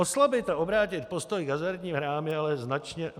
Oslabit a obrátit postoj k hazardním hrám je ale značně...